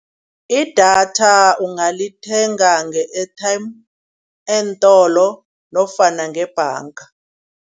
Idatha ungalithenga nge-airtime, eentolo nofana ngebhanga.